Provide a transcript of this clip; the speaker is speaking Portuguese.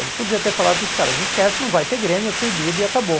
Ele podia ter falado para os caras, esquece, não vai ter Grêmio, é proibido e acabou.